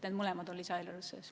Need mõlemad on lisaeelarves sees.